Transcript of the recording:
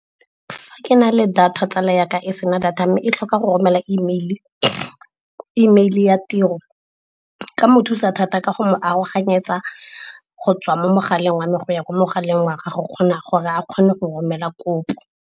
Fa ke na le data, tsala yaka e sena data mme e tlhoka go romela email ya tiro, nka mo thusa thata ka go mo aroganyetsa go tswa mo mogaleng wa me go ya kwa mogaleng wa gagwe, kgona gore a kgone go romela kopo.